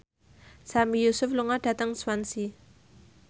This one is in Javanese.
Sami Yusuf lunga dhateng Swansea